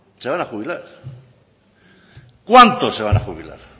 se van a jubilar cuántos se van a jubilar